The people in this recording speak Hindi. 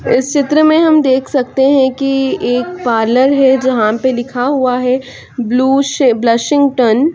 इस चित्र मे हम देख सकते है की एक पार्लर है जहाँ पे लिखा हुआ है ब्लू स ब्लूसिंग टन --